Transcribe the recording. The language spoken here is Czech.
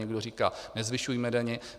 Někdo říká "nezvyšujme daně".